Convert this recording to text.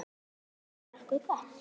Bara nokkuð gott.